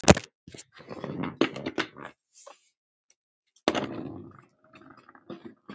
Settu marki átti að ná.